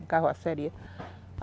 Uma carroceria